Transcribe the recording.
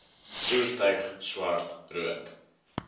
voertuig swart rook